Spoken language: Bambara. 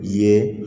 Ye